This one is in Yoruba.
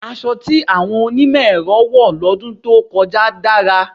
Asọ tí àwọn onímọ̀ ẹ̀rọ wọ̀ lọ́dún tó dára.